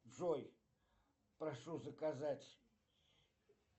джой прошу заказать